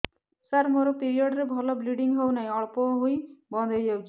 ସାର ମୋର ପିରିଅଡ଼ ରେ ଭଲରେ ବ୍ଲିଡ଼ିଙ୍ଗ ହଉନାହିଁ ଅଳ୍ପ ହୋଇ ବନ୍ଦ ହୋଇଯାଉଛି